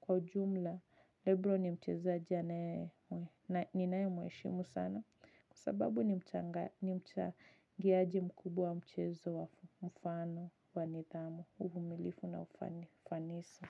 Kwa ujumla, lebron ni mchezaji ninayemweshimu sana. Kwa sababu nimchangiaji mkubwa mchezo kwa mfano wa nidhamu, uvumilivu na ufanisi.